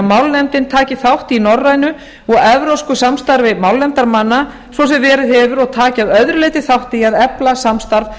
málnefndin taki þátt í norrænu og evrópsku samstarfi málnefndarmanna svo sem verið hefur og taki að öðru leyti þátt í að efla samstarf